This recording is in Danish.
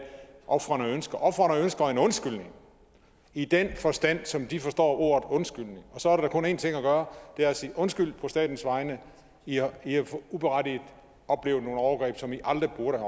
ofrene ønsker ofrene ønsker en undskyldning i den forstand som de forstår ordet undskyldning og så er der da kun en ting at gøre og det er at sige undskyld på statens vegne i har uberettiget oplevet nogle overgreb som i aldrig burde